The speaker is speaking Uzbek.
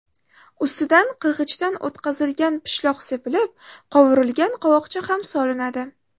Ustidan qirg‘ichdan o‘tkazilgan pishloq sepilib, qovurilgan qovoqcha ham solinadi.